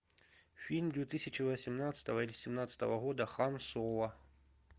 фильм две тысячи восемнадцатого или семнадцатого года хан соло